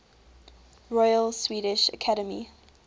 royal swedish academy